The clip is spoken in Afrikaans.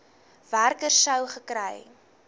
werker sou gekry